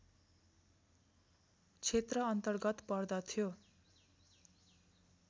क्षेत्र अन्तर्गत पर्दथ्यो